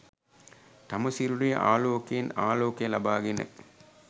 තම සිරුරේ ආලෝකයෙන් ආලෝකය ලබාගෙන